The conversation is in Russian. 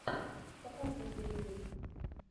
показывай боевик